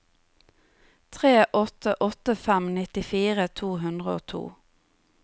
tre åtte åtte fem nittifire to hundre og to